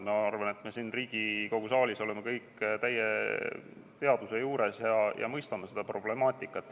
Ma arvan, et me siin Riigikogu saalis oleme kõik täie teadvuse juures ja mõistame seda problemaatikat.